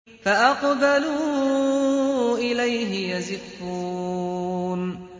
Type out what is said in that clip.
فَأَقْبَلُوا إِلَيْهِ يَزِفُّونَ